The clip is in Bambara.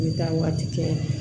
N bɛ taa waati kɛ